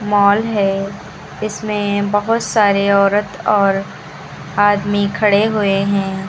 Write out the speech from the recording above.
Mall है इसमें बहुत सारे औरत और आदमी खड़े हुए हैं।